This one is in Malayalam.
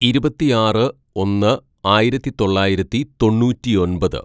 "ഇരുപത്തിയാറ് ഒന്ന് ആയിരത്തിതൊള്ളായിരത്തി തൊണ്ണൂറ്റിയൊമ്പത്‌